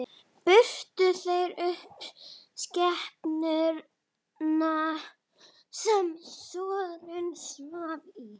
Brutu þeir upp skemmuna er Snorri svaf í.